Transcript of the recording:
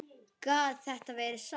Gat þetta verið satt?